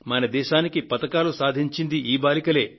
మన దేశానికి పతకాలు సాధించింది ఈ బాలికలే